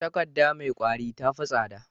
Takadda me kwari tafi tsada